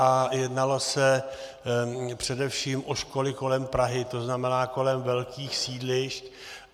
A jednalo se především o školy kolem Prahy, to znamená kolem velkých sídliště.